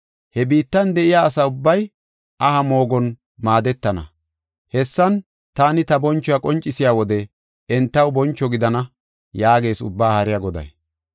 He biittan de7iya asa ubbay aha moogon maadetana; hessan, taani ta bonchuwa qoncisiya wode entaw boncho gidana” yaagees Ubbaa haariya Goday.